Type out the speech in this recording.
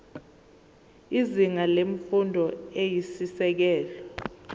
izinga lemfundo eyisisekelo